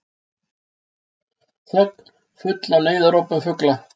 Þögn, full af neyðarópum fugla.